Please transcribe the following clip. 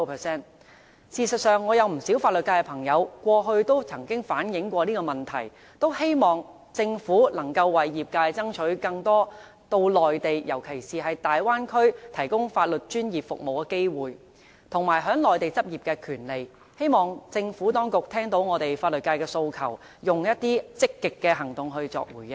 事實上，我有不少法律界朋友過去都曾反映這個問題，他們很希望政府能夠為業界爭取更多到內地，尤其是到大灣區提供法律專業服務的機會，以及在內地執業的權利，希望政府當局聽到我們法律界的訴求，並以積極行動作回應。